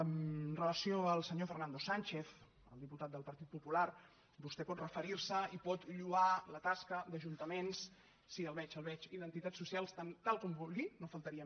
amb relació al senyor fernando sánchez el diputat del partit popular vostè pot referir se i pot lloar la tasca d’ajuntaments sí el veig el veig i d’entitats socials tant com vulgui només faltaria